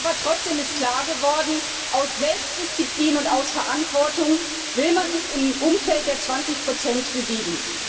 Aber trotzdem ist klar geworden, aus Selbstdisziplin und aus Verantwortung will man sich im Umfeld der 20 bewegen.